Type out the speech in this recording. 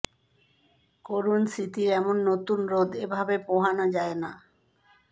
করুণ স্মৃতির এমন নতুন রোদ এভাবে পোহানো যায় না